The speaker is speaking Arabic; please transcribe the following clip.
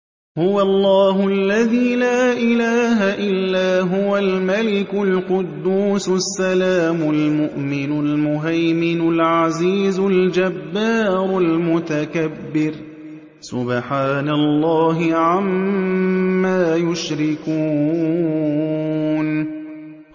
هُوَ اللَّهُ الَّذِي لَا إِلَٰهَ إِلَّا هُوَ الْمَلِكُ الْقُدُّوسُ السَّلَامُ الْمُؤْمِنُ الْمُهَيْمِنُ الْعَزِيزُ الْجَبَّارُ الْمُتَكَبِّرُ ۚ سُبْحَانَ اللَّهِ عَمَّا يُشْرِكُونَ